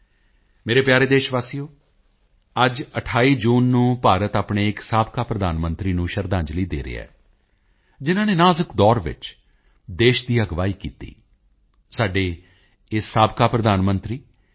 ਮੇਰੇ ਪਿਆਰੇ ਦੇਸ਼ਵਾਸੀਓ ਅੱਜ 28 ਜੂਨ ਨੂੰ ਭਾਰਤ ਆਪਣੇ ਇੱਕ ਸਾਬਕਾ ਪ੍ਰਧਾਨ ਮੰਤਰੀ ਨੂੰ ਸ਼ਰਧਾਂਜਲੀ ਦੇ ਰਿਹਾ ਹੈ ਜਿਨ੍ਹਾਂ ਨੇ ਇੱਕ ਨਾਜ਼ੁਕ ਦੌਰ ਵਿੱਚ ਦੇਸ਼ ਦੀ ਅਗਵਾਈ ਕੀਤੀ ਸਾਡੇ ਇਹ ਸਾਬਕਾ ਪ੍ਰਧਾਨ ਮੰਤਰੀ ਸ਼੍ਰੀ ਪੀ